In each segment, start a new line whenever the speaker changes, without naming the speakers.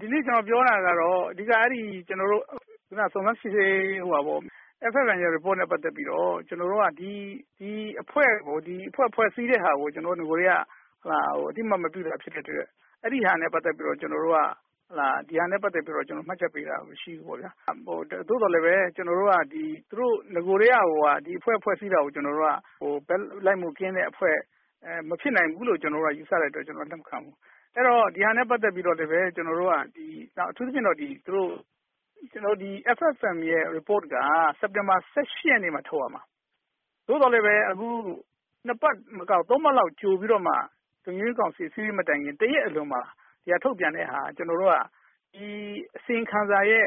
ဒီနေ့ကျနော်ပြောတာကတော့ အဓိက ကျနော်တို့ စုံစမ်းစစ်ဆေးရေး FFM report နဲ့ ပတ်သက်ပြီးတော့ ကျနေ်ာတို့က ဒီအဖွဲ့ ဖွဲ့စည်းတာကို ကျနော်တို့ နဂိုကတည်းက အသိအမှတ်မပြုတာဖြစ်တဲ့အတွက် အဲဒီဟာနဲ့ ပတ်သက်ပြီးတော့ ကျနော်တို့က မှတ်ချက်ပေးတာမရှိဘူး။ သို့သော်လည်း ကျနော်တို့ နဂိုကတည်းကကို ဒီအဖွဲ့ ဖွဲ့စည်းတာကို ကျနော်တို့က ဘက်လိုက်မှုကင်းတဲ့အဖွဲ့မဖြစ်နိုင်ဘူးလို့ ကျနေ်ာတို့က ယူဆတဲ့အတွက် ကျနော်တို့လက်မခံဘူး။ အဲဒီတော့ ဒီဟာနဲ့ပတ်သက်ပြီးတော့ အထူးသဖြင့် FFM report က စက်တင်ဘာ ၁၈ ရက်နေ့မှာ ထုတ်ရမှာ။ သို့သော်လည်း အခုက ၂ ပတ်မကဘူး ၃ ပတ်လောက်ကြိုပြီးတော့မှ လုံခြုံရေးကောင်စီ အစည်းအဝေးမတိုင်ခင် ၁ ရက်အလိုမှာထုတ်ပြန်တာက ကျနော်တို့က ဒီအစီရင်ခံစာရဲ့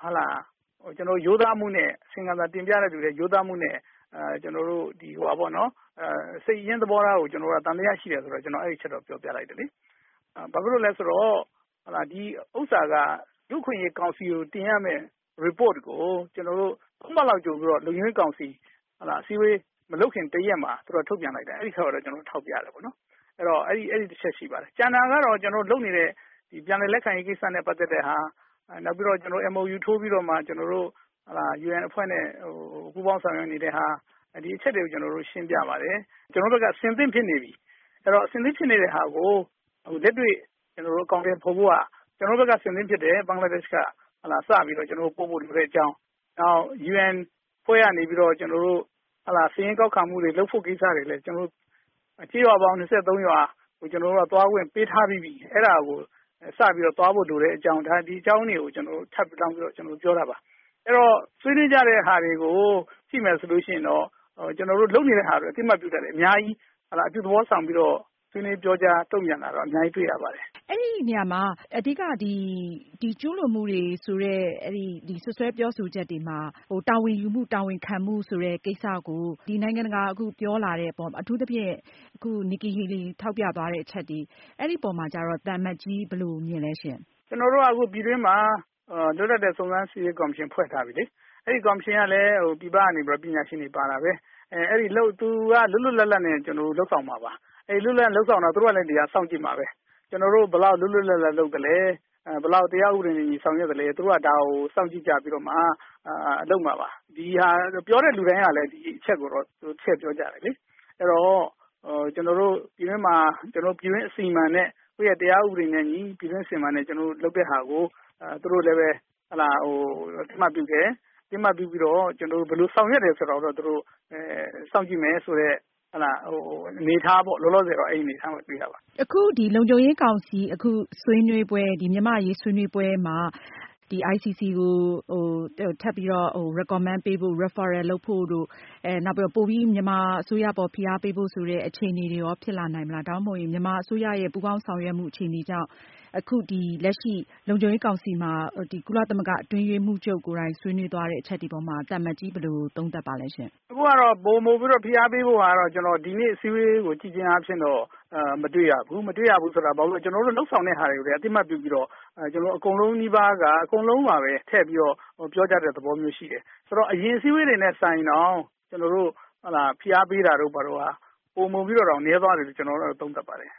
ရိုးသားမှုနဲ့ စိတ်ရင်းသဘောထားကို ကျနော်တို့သံသယရှိတယ်ဆိုတဲ့အချက်ကို ကျနော်တို့ပြောပြတယ်။ ဘာဖြစ်လို့လဲဆိုတော့ ဒီဟာက လူ့အခွင့်အရေးကောင်စီကို တင်ရမယ့် Report ကို ၂ ပတ်ကြိုပြီးတော့ လုံခြုံရေးကောင်စီအစည်းအဝေး မလုပ်ခင်တရာက်မှာ ထုတ်ပြန်လိုက်တယ်။ အဲဒါကိုတော့ ကျနော်တို့ ထောက်ပြပါတယ်။ အဲဒီတချက်ရှိပါတယ်။ ကျန်တာကတော့ ကျနော်တို့လုပ်နေတဲ့ ပြန်လည်လက်ခံရေးနဲ့ ပတ်သက်တာ။ နောက်ပြီးတော့ MOU ထိုးပြီးတော့ ကျနော်တို့ UN အဖွဲ့နဲ့ ပူးပေါင်းဆောင်ရွက်နေတာတွေ ဒီအချက်တွေကို ကျနေ်ာတို့ ရှင်းပြပါတယ်။ ကျနေ်ာတို့ဘက်က အဆင်သင့်ဖြစ်နေပြီ၊ အဆင်သင့်ဖြစ်တာကို လက်တွေ့အကောင်အထည်ဖော်ဖို့က ကျနော်တို့ဘက်က အဆင်သင့်ဖြစ်တယ်။ ဘင်္ဂလားဒေ့ရှ်ဘက်က စပြီးတော့ ပို့ဖို့လိုတဲ့အကြောင်း နောက် UN အဖွဲ့ကနေပြီးတော့ စာရင်းကောက်ခံမှုတွေလုပ်ဖို့ကိစ္စတွေလည်း ကျေးရွာပေါင်း ၂၃ ရွာကိုလည်း သွားခွင့်ပေးထားပြီးပြီ။ အဲဒါကို စပြီးတော့ သွားဖို့လိုတဲ့အကြောင်း ဒါတွေကို ထပ်လောင်းပြီးတော့ ပြောတာပါ။ အဲဒီတော့ ဆွေးနွေးတာတွေကို ကြည့်မယ်ဆိုရင်တော့ ကျနော်တို့လုပ်နေတာတွေကို အသိအမှတ်ပြုတာတွေအများကြီး အပြုသဘောဆောင်ပြီးတော့ ဆွေးနွေးပြောကြားတုံ့ပြန်တာတွေအများကြီးတွေ့ရပါတယ်။
ဒီနေရမှာ အဓိကအချက်က ပြစ်မှုကျူးလွန်ခဲ့တယ် ဆိုတဲ့ စွပ်စွဲချက်တွေနဲ့ ပတ်သက်လို့ တာဝန်ခံမှုရှိလာအောင် အရေးယူဆောင်ရွက်ဖို့ နိုင်ငံတကာက ဖိအားပေးပြောလာတဲ့အပေါ် အထူးသဖြင့် အမေရိကန်သံအမတ် Nikki Haley ပြောသွားတဲ့ အချက်တွေပေါ်မှာ သံအမတ်ကြီး ဘယ်လို မြင်လဲရှင့်။
ကျနော်တို့က ပြည်တွင်းမှာ လွတ်လပ်တဲ့ စုံစမ်းစစ်ဆေးရေးကော်မရှင်ဖွဲ့ထားပြီးပြီလေ။ အဲဒီကော်မရှင်ကလည်း ပြည်ပကနေပြီးတော့ ပညာရှင်တွေပါတာပဲ ။ သူက လွတ်လွတ်လပ်လပ်နဲ့ လုပ်ဆောင်မှာပါ။ လွတ်လွတ်လပ်လပ်လုပ်ဆောင်တာကို သူတို့က စောင့်ကြည့်မှာပဲ ကျနော်တို့ဘယ်လောက် လွတ်လွတ်လပ်လပ်လုပ်သလဲ၊ ဘယ်လောက်တရားဥပဒေနဲ့အညီဆောင်ရွက်သလဲ၊ သူတို့က ဒါကို စောင့်ကြည့်ကြပြီးတော့မှ လုပ်မှာပါ။ ပြောတဲ့လူတိုင်းကလည်း ဒီအချက်ကိုတော့ ထည့်ပြောကြတယ်လေ။ အဲဒီတော့ ပြည်တွင်းမှာ ပြည်တွင်းအစီအမံနဲ့ တရားဥပဒေနဲ့အညီလုပ်တာကို သူတို့လည်း အသိအမှတ်ပြုတယ်။ ဘယ်လိုဆောင်ရွက်တယ်ဆိုတာကိုတော့ စောင့်ကြည့်မယ်ဆိုတဲ့ အနေအထားတော့တွေ့ရပါတယ်။
အခု လုံခြုံရေးကောင်စီ မြန်မာ့အရေးဆွေးနွေးပွဲမှာ ICC ခုံရုံးကို တင်မယ့်ကိစ္စ လုံခြုံရေးကောင်စီအနေနဲ့ ထောက်ခံချက်ပေးဖို့၊ နောက် မြန်မာအစိုးရအပေါ် ပိုပြီး ဖိအားပေးဖို့ ဆိုတဲ့ အခြေအနေတွေ ဖြစ်လာနိုင်မလား။ ဒါမှမဟုတ် မြန်မာနိုင်ငံရဲ့ ပူးပေါင်းဆောင်ရွက်မှုနဲ့ အခု လုံခြုံရေးကောင်စီ ဆွေးနွေးပွဲမှာ ကုလသမဂ္ဂအတွင်းရေးမှူးချုပ် ကိုယ်တိုင် ဆွေးနွေးသွားတဲ့ အချက်တွေပေါ်မှာ သံအမတ်ကြီး ဘယ်လို သုံးသပ်လဲရှင့်။
အခုကတော့ ပိုမိုပြီးတော့ ဖိအားပေးဖို့ကို ဒီနေ့အစည်းအဝေးကိုကြည့်ခြင်းအားဖြင့် မတွေ့ရဘူး။ မတွေ့ရဘူးဆိုတာကတော့ ကျနေ်ာတို့ လုပ်ဆောင်တာတွေလည်း အသိအမှတ်ပြုပြီးတော့ အကုန်လုံးနီးပါးက အကုန်လုံးပါပဲ ပြောကြတဲ့ သဘောရှိတယ်။ ဆိုတော့ အရင်အစည်းအဝေးတွေနဲ့ စာရင်တော့ ဖိအားပေးမှာတွေ ပိုမိုပြီးတော့နည်းသွားတယ်လို့ ကျနေ်ာတို့ကတော့ သုံးသပ်ပါတယ်